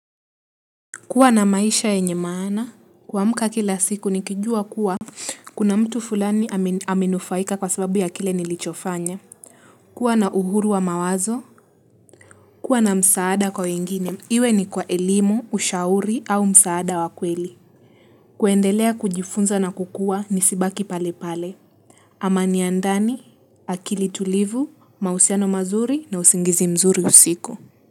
Kuwa na maisha yenye maana, kuamka kila siku nikijua kuwa, kuna mtu fulani amenufaika kwa sababu ya kile nilichofanya. Kuwa na uhuru wa mawazo, kuwa na msaada kwa wengine, iwe ni kwa elimu, ushauri au msaada wa kweli. Kuendelea kujifunza na kukua nisibaki pale pale. Amani ya ndani, akili tulivu, mahusiano mazuri na usingizi mzuri usiku.